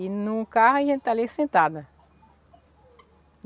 E em um carro a gente está ali sentada.